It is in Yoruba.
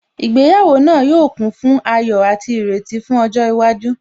Ìgbéyàwó náà yóò kún fún ayọ̀ àti ìrètí fún ọjọ́ iwájú